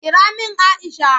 Kira min Aisha!